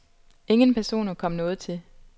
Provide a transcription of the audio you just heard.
Ingen personer kom noget til.